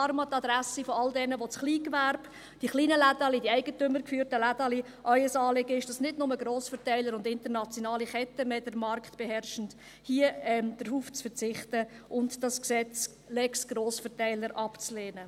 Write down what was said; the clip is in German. Deshalb an die Adresse all derer, die das Kleingewerbe, die kleinen, eigentümergeführten Läden vertreten und denen es ein Anliegen ist, dass nicht nur Grossverteiler und internationale Ketten den Markt beherrschen: Verzichten Sie hier darauf und lehnen Sie diese «Lex Grossverteiler» ab.